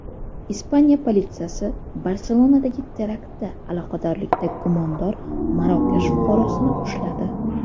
Ispaniya politsiyasi Barselonadagi teraktga aloqadorlikda gumondor Marokash fuqarosini ushladi.